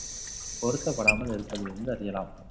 பொருத்தப்படாமல் இருப்பதில் இருந்து, அறியலாம்